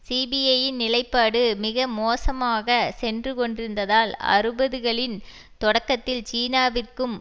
சிபிஐயின் நிலைப்பாடு மிக மோசமாக சென்றுகொண்டிருந்ததால் அறுபதுகளின் தொடக்கத்தில் சீனாவிற்கும்